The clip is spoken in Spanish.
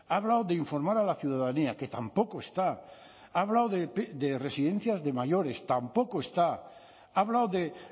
ha hablado de informar a la ciudadanía que tampoco está ha hablado de residencias de mayores tampoco está ha hablado de